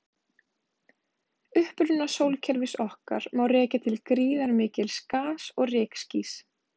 Uppruna sólkerfis okkar má rekja til gríðarmikils gas- og rykskýs.